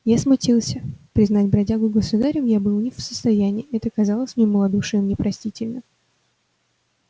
я смутился признать бродягу государем был я не в состоянии это казалось мне малодушием непростительным